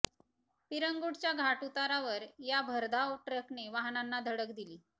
पिरंगुटच्या घाट उतारावर या भरधाव ट्रकने वाहनांना धडक दिली